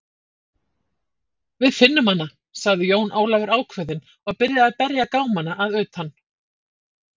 Við finnum hana, sagði Jón Ólafur ákveðinn og byrjaði að berja gámana að utan.